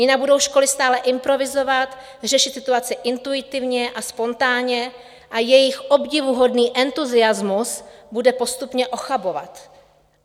Jinak budou školy stále improvizovat, řešit situaci intuitivně a spontánně a jejich obdivuhodný entuziasmus bude postupně ochabovat.